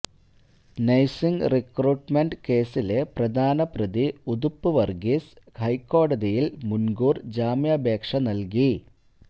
nursing recruitment കേസിലെ പ്രധാപ്രതി ഉതുപ്പ് വര്ഗീസ് ഹൈക്കോടതിയില് മുന്കൂര് ജാമ്യാപേക്ഷ നല്കി